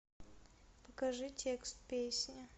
покажи текст песни